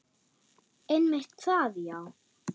Einmitt það, já.